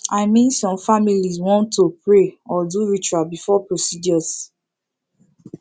i min some familiz wan to pray or do ritual before procedures